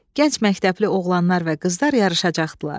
Gənc məktəbli oğlanlar və qızlar yarışacaqdılar.